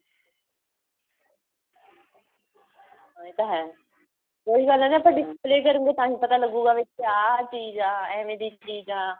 ਹਾਂ ਇਹ ਤਾਂ ਹੈ ਉਹੀ ਗੱਲ ਏ ਨਾ ਉਹੀ ਗੱਲ ਹੈ ਨਾ ਆਪਾਂ display ਕਰੂਗੇ ਤਾਹੀ ਪਤਾ ਲਗੁਗਾ ਵੀ ਕਿਹਾ ਚੀਜ਼ ਆ ਐਵੇਂ ਦੀ ਚੀਜ਼ ਆ